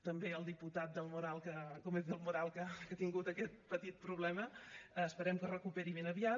també al diputat gómez del moral que ha tingut aquest petit problema esperem que es recuperi ben aviat